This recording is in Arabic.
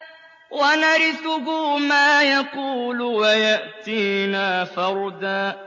وَنَرِثُهُ مَا يَقُولُ وَيَأْتِينَا فَرْدًا